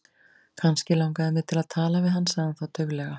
Kannski langaði mig til að tala við hann sagði hann þá dauflega.